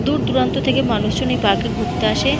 দূর দুরান্ত থেকে মানুষজন এই পার্ক এ ঘুরতে আসে।